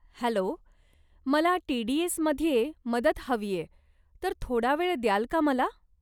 Hello, मला टी.डी.एस.मध्ये मदत हवीये तर थोडा वेळ द्याल का मला?